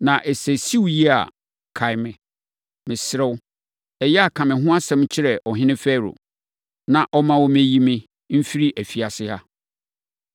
Na sɛ ɛsi wo yie a, kae me. Mesrɛ wo, ɛyɛ a, ka me ho asɛm kyerɛ ɔhene Farao, na ɔmma wɔmmɛyi me mfiri afiase ha.